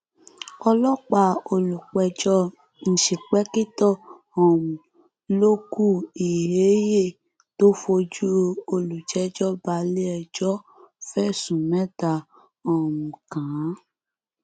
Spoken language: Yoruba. ọlọpàá olùpẹjọ ìǹṣìpẹkìtọ um lókù ilhéhie tó fojú olùjẹjọ balẹẹjọ fẹsùn mẹta um kàn án